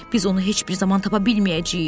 Biz onu heç bir zaman tapa bilməyəcəyik.